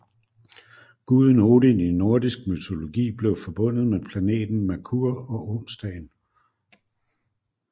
Guden Odin i nordisk mytologi blev forbundet med planeten Merkur og onsdagen